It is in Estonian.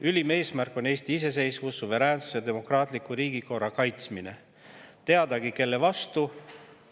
Ülim eesmärk on Eesti iseseisvus, suveräänsus ja demokraatliku riigikorra kaitsmine – teadagi kelle vastu.